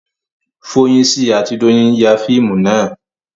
Foyinsi àti Doyin ya fíìmù náà